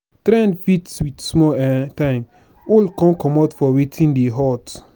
trend fit with small um time old come comot for wetin dey hot